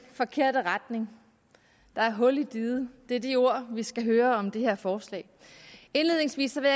forkerte retning der er hul i diget det er de ord vi skal høre om det her forslag indledningsvis vil